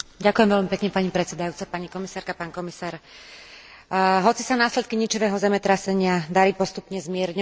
Hoci sa následky ničivého zemetrasenia dali postupne zmierňovať a odstraňovať, obyvatelia stále trpia závažnými problémami.